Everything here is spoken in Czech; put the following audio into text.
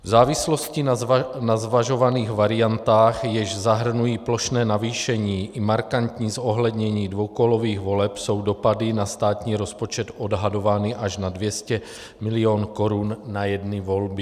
V závislosti na zvažovaných variantách, jež zahrnují plošné navýšení i markantní zohlednění dvoukolových voleb, jsou dopady na státní rozpočet odhadovány až na 200 mil. korun na jedny volby.